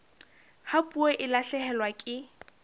ha puo e lahlehelwa ke